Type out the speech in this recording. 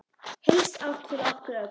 Helsárt fyrir okkur öll.